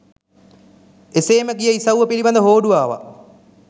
එසේම ගිය ඉසව්ව පිළිබඳ හෝඩුවාවක්